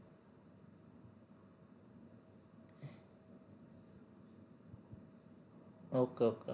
okay okay